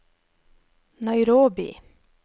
Nairobi